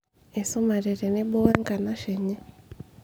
esumate tenebo we enkanashe enye